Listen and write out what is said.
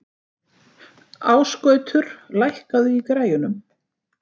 Ásgautur, lækkaðu í græjunum.